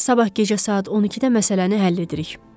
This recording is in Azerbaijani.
Sabahkı gecə saat 12-də məsələni həll edirik.